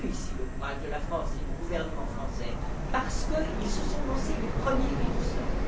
salue, ici, le courage de la France et du gouvernement français, parce qu'ils se sont lancés les premiers et tout seuls!